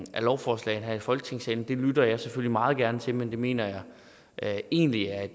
lovforslag her i folketingssalen lytter jeg selvfølgelig meget gerne til men jeg mener egentlig at